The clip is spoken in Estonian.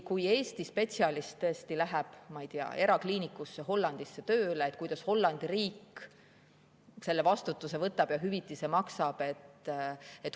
Kui Eesti spetsialist läheb, ma ei tea, Hollandisse erakliinikusse tööle, kuidas siis Hollandi riik selle vastutuse võtab ja hüvitist maksab?